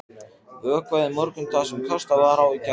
Vökvað í morgun það sem kastað var á í gær.